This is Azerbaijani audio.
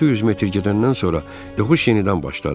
5-600 metr gedəndən sonra yoxuş yenidən başladı.